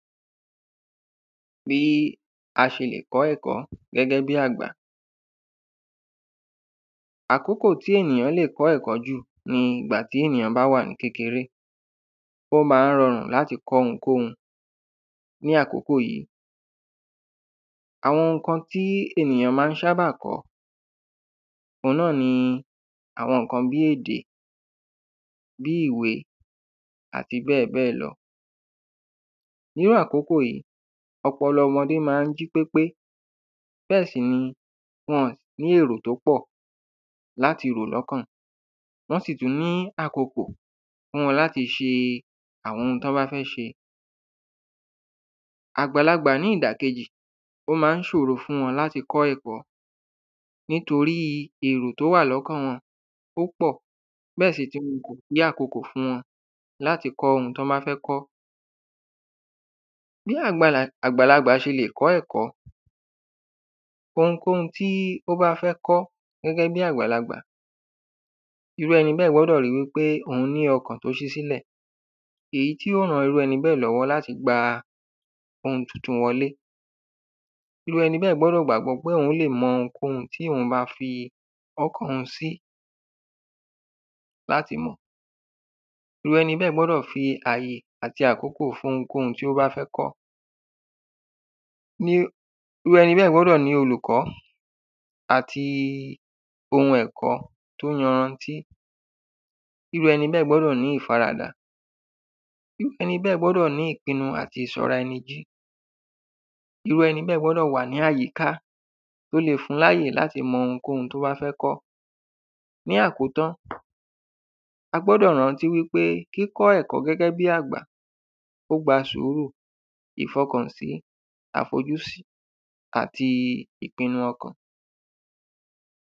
Bí a ṣe lè kọ́ ẹ̀kọ́ gẹ́gẹ́ bí àgbà. Àkókò tí èyàn le kọ́ ẹ̀kọ́ ni ìgbà tí ènìyàn bá wà ní kékeré ó má ń rọrùn láti kọ́ ohunkóhun ní àkókò yìí. Àwọn nǹkan tí ènìyàn ṣábà má ń kọ́ òun náà ni àwọn nǹkan bí ìwé àti bẹ́ẹ̀ bẹ́ẹ̀ lọ. Irú àkókò yìí ọpọlọ wa ó má ń jí pépé bẹ́ẹ̀ sì ni wọn ò ní èrò tó pọ̀ láti rò lọ́kàn wọn. Wọ́n sì tún ní àkoko fún wọn láti ṣe àwọn n tán bá fẹ́ ṣe. Àgbàlagbà ní ìdà kejì ó má ń ṣòro fún wọn láti kọ́ ẹ̀kọ́ nítorí èrò tó wà lọ́kàn wọn ó pọ̀ oun náà ni kò sí àkokò fún wọn láti kọ́ ohun tí wọ́n bá fẹ́ kọ́. Bí àgbalà àgbàlagbà ṣe lè kọ́ ẹ̀kọ́ ohunkóhun tí ó bá fẹ́ kọ́ gẹ́gẹ́ bí àgbàlagbà irú ẹni bẹ́ẹ̀ gbọdọ̀ rí wípé òhun ní ọkàn tó ṣe sílẹ̀ èyí tí yó ran irú ẹni bẹ́ẹ̀ lọ́wọ́ láti gba ohun titun wọlé. Irú ẹni bẹ́ẹ̀ gbọ́dọ̀ gbàgbọ́ pé òhun lè mọ ohunkóhun tí òhun má kẹ́kọ̀ọ́ lé láti mọ̀. Irú ẹni bẹ́ẹ̀ gbọ́dọ̀ gbàgbọ́ fi àyè àti àkókò fún ohunkóhun tí ó bá fẹ́ kọ́. Irú ẹni bẹ́ẹ̀ gbọ́dọ̀ ní olùkọ́ àti ohun ẹ̀kọ́ tó yanrantí irú ẹni bẹ́ẹ̀ gbọ́dọ̀ ní ìfaradà irú ẹni bẹ́ẹ̀ gbọ́dọ̀ ní ìpinu àti ìsọ́ra ẹni irú ẹni bẹ́ẹ̀ gbọ́dọ̀ wà ní àyíká tó le fún láàyè láti mọ ohunkóhun tó bá fẹ́ kọ́. Ní àkótán a gbọ́dọ̀ rántí wípé kíkọ́ ẹ̀kọ́ gẹ́gẹ́ bí àgbà ó gba sùúrú ìfọkànsí àfojúsí àti ìpinu ọkàn.